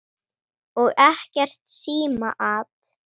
Og ekkert símaat.